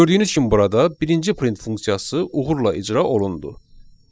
Gördüyünüz kimi burada birinci print funksiyası uğurla icra olundu.